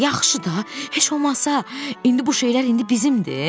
Yaxşı da, heç olmasa indi bu şeylər indi bizimdir.